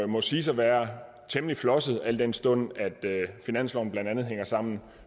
må siges at være temmelig flosset al den stund at finansloven blandt andet hænger sammen